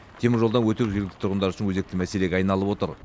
теміржолдан өту жергілікті тұрғындар үшін өзекті мәселеге айналып отыр